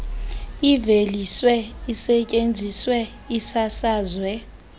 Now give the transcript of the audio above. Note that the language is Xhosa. iveliswe isetyenziswe isasazwe